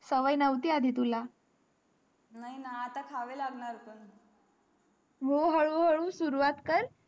सवय नव्हती आदी तुला नाही ना आता खावे लागणार आता पण हो हळू हळू सुरवात कर